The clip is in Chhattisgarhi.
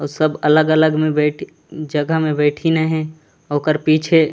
अऊ सब अलग-अलग में बेठे जगह में बैठिन हे अऊ ओकर पीछे--